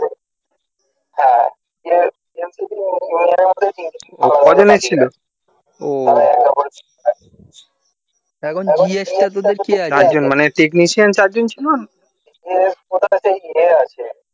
কজনের ছিল ও মানে technician চার জন ছিল